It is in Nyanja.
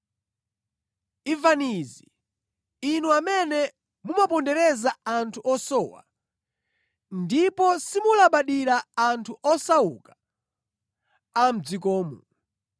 Imvani izi, inu amene mumapondereza anthu osowa ndipo simulabadira anthu osauka a mʼdzikomu.